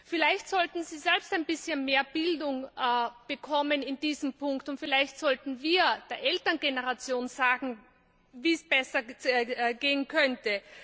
Vielleicht sollten sie selbst ein bisschen mehr Bildung in diesem Punkt bekommen, und vielleicht sollten wir der Elterngeneration sagen, wie es besser gehen könnte.